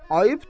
Ayıbdır.